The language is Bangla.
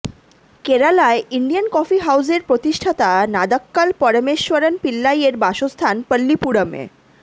কেরালায় ইন্ডিয়ান কফি হাউজের প্রতিষ্ঠাতা নাদক্কাল পরমেশ্বরণ পিল্লাইয়ের বাসস্থান পল্লীপুরমে